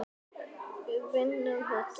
Ég hef ekkert lært.